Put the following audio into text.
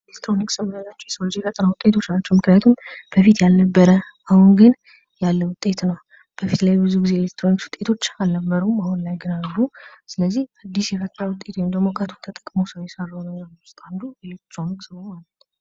የኤሌክትሮኒክስ ዕቃዎች የሰው ልጅ የፈጠራ ውጤት ናቸው። ምክንያቱም በፊት ያልነበረ አሁን ግን ያለ ውጤት ነው። በፊት ግን ላይ ብዙ የኤሌክትሮኒክስ ዕቃዎች አልነበሩም። አሁን ላይ ግን አሉ። ስለዚህ ዲሽ የፈጠራ ውጤት ነው ።